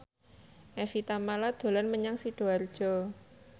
Evie Tamala dolan menyang Sidoarjo